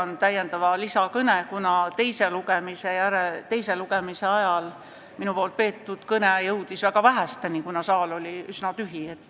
Nii et ma pean lisakõne, kuna teise lugemise ajal kuulsid minu peetud kõnet väga vähesed, sest saal oli üsna tühi.